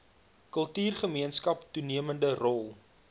kultuurgemeenskap toenemende rol